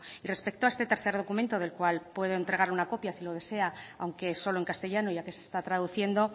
y respecto a este tercer documento del cual puedo entregar una copia si lo desea aunque solo en castellano ya que se está traduciendo